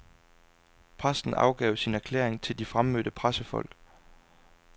Præsten afgav sin erklæring til de fremmødte pressefolk.